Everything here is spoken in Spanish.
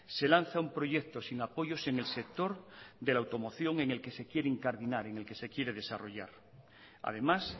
se lanza un proyecto sin apoyos en el sector de la automoción en el que se quiere incardinar en el que se quiere desarrollar además